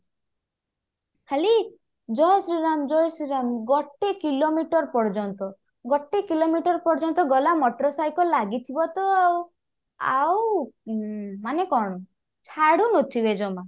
ଖାଲି ଜୟ ଶ୍ରୀରାମ ଜୟ ଶ୍ରୀରାମ ଗୋଟେ kilometre ପର୍ଯ୍ୟନ୍ତ ଗୋଟେ kilometre ପର୍ଯ୍ୟନ୍ତ ଗଲା motor cycle ଲାଗିଥିବ ତ ଆଉ ଆଉ ଉଁ ମାନେ କଣ ଛାଡୁନଥିବେ ଜମା